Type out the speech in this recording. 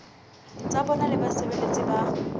tsa bona le basebeletsi ba